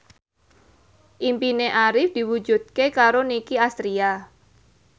impine Arif diwujudke karo Nicky Astria